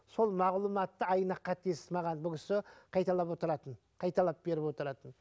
сол мағлұматты айна қатесіз маған бұл кісі қайталап отыратын қайталап беріп отыратын